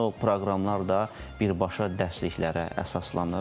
Həmin o proqramlar da birbaşa dərsliklərə əsaslanır.